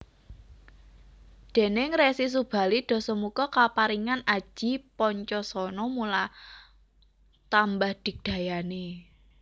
Déning Resi Subali Dasamuka kaparingan aji Pancosona mula tambah digdayané